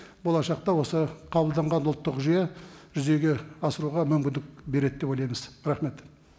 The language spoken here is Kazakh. болашақта осы қабылданған ұлттық жүйе жүзеге асыруға мүмкіндік береді деп ойлаймыз рахмет